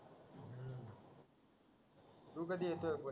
तू कधी येतोय पण